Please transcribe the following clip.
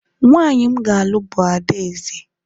nwanyị m ga-alụ bụ adaeze